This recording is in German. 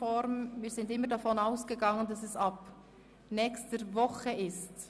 Wir sind immer davon ausgegangen, dass die geänderte Debattenform für die nächste Woche gilt.